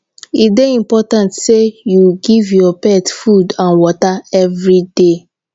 e dey important sey you give your pet food and water everyday